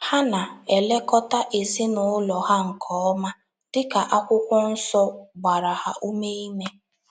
Ha na - elekọta ezinụlọ ha nke ọma, dị ka Akwụkwọ Nsọ gbara ha ume ime.